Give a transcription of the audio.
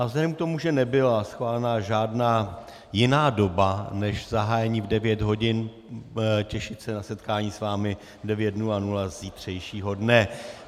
A vzhledem k tomu, že nebyla schválena žádná jiná doba než zahájení v 9 hodin, těšit se na setkání s vámi v 9.00 zítřejšího dne.